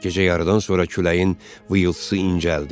Gecə yarıdan sonra küləyin vıyıltısı incəldi.